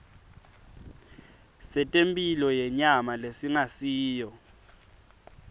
setemphilo yenyama lesingasiyo